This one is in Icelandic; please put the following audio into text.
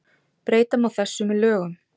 breyta má þessu með lögum